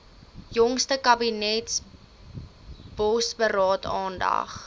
jongste kabinetsbosberaad aandag